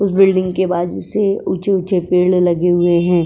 उस बिल्डिंग के बाज़ू से ऊंचे - ऊंचे पेड़ लगे हुए हैं।